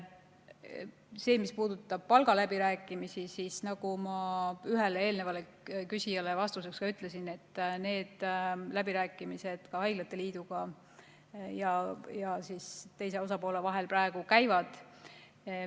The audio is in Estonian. See, mis puudutab palgaläbirääkimisi, nagu ma ühele eelnevale küsijale vastuseks ütlesin, on need läbirääkimised haiglate liidu ja teise osapoole vahel praegu käimas.